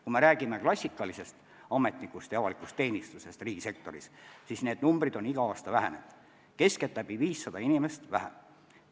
Kui me aga räägime klassikalisest ametnikust ja avalikust teenistusest riigisektoris, siis need numbrid on iga aasta vähenenud, keskeltläbi 500 inimest on vähem.